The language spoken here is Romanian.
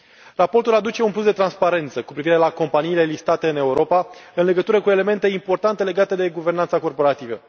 Raportul aduce un plus de transparență cu privire la companiile listate în Europa în legătură cu elemente importante legate de guvernanța corporativă.